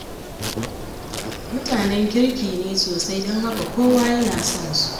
Mutanen kirki ne sosai don haka kowa yana son su.